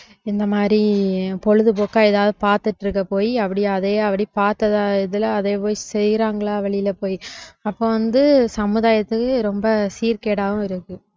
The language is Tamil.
இந்த மாதிரி பொழுதுபோக்கா ஏதாவது பார்த்துட்டு இருக்க போய் அப்படி அதையே அப்படி பார்த்ததா இதுல அதே போய் செய்யறாங்களா வெளியில போயிட்டு அப்ப வந்து சமுதாயத்துக்கு ரொம்ப சீர்கேடாவும் இருக்கு